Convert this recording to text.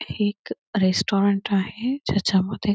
हे एक रेसतोरेन आहे जेच्या मध्ये